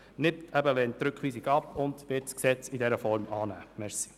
Die SVP wird wie gesagt das Gesetz in dieser Form annehmen.